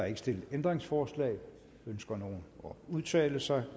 ikke stillet ændringsforslag ønsker nogen at udtale sig